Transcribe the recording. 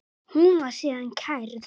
Hún var síðan kærð.